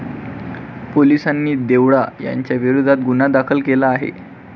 पोलिसांनी देवडा यांच्याविरोधात गुन्हा दाखल केला आहे.